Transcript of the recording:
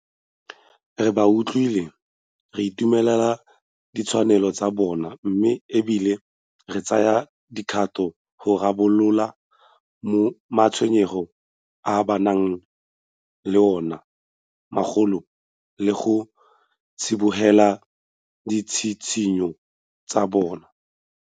Re ba utlwile, re itumelela ditshwaelo tsa bona mme e bile re tsaya dikgato go rarabolola ma tshwenyego a ba nang le ona mmogo le go tsibogela ditshitshinyo tsa bona.